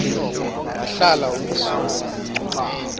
wahlala umzum omde